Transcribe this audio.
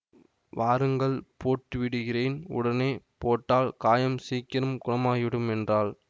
வாருங்கள் போட்டு விடுகிறேன் உடனே போட்டால் காயம் சீக்கிரம் குணமாகிவிடும் என்றாள்